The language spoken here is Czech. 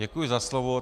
Děkuji za slovo.